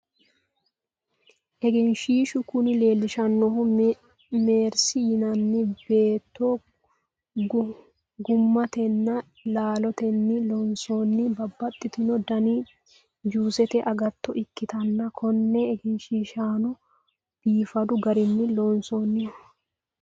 egenshiishshu kuni leelishannohu mersi yinanni beetto gummatenna laalotenni loosanni babbaxitino dani juusete agatto ikkitanna, konne egenshiishshano biifadu garinni loonsoonniho .